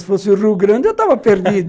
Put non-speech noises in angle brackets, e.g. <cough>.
Se fosse o Rio Grande, eu estava perdido <laughs>